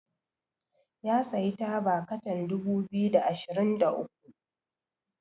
ya sayi taba katan dubu biyu da ashirin da uku